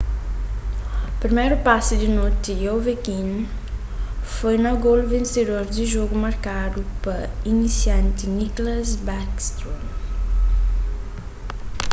priméru pasi di noti di ovechkin foi na golu vensedor di jogu markadu pa inisianti nicklas backstrom